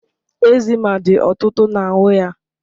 Eczema dị ọtụtụ na ahụ ya